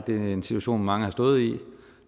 det er en situation mange har stået i